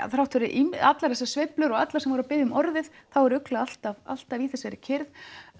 þrátt fyrir allar þessar sveiflur og alla sem voru að biðja um orðið þá var ugla alltaf alltaf í þessari kyrrð